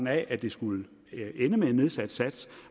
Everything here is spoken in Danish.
at det skulle ende med en nedsat sats